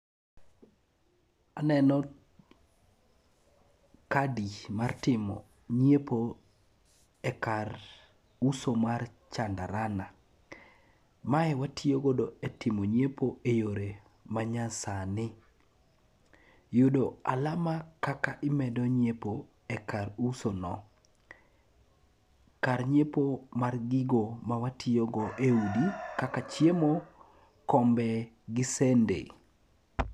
Aneno kadi mar timo nyiepo e kar uso mar chandarana. Mae watiyo godo e timo nyiepo e yore manyasani. Yudo alama kaka imedo nyiepoi e kar usuno. Kar nyiepo mar gigo mawatiyogo e udi kaka chiemo, kombe gi sende.